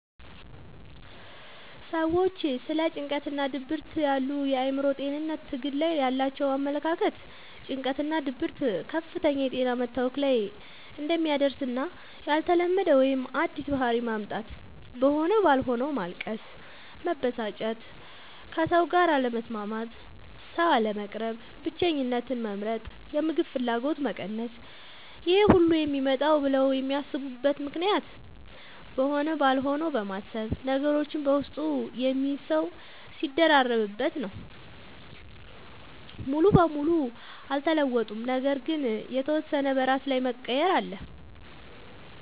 ሰዎች ስለ ጭንቀትናድብርት ያሉ የአእምሮ ጤንነት ትግል ላይ ያላቸው አመለካከት ጭንቀትናድብርት ከፍተኛ የጤና መታወክ ላይ እንደሚያደርስና ያልተለመደ ወይም አዲስ ባህሪ ማምጣት(በሆነ ባልሆነዉ ማልቀስ፣ መበሳጨት፣ ከሰዉጋር አለመስማማት፣ ሰዉ፣ አለመቅረብ፣ ብቸኝነትን መምረጥ፣ የምግብ ፍላገጎት መቀነስ....) ይሄሁሉ የሚመጣውም ብለው የሚያስቡት ምክንያትም በሆነ ባልሆነው በማሰብ፤ ነገሮችን በውስጡ የሚይዝ ሰዉ ሲደራረብበት... ነው። ሙሉ በሙሉ አልተለወጡም ነገር ግን የተወሰነ በራስ ላይ መቀየር አለ።